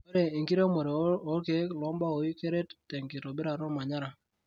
Ore enkiremore oo kiek lombawoi keret tenkitobirata omanyara.